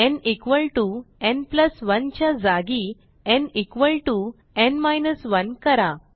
न् न् 1 च्या जागी न् न् 1 करा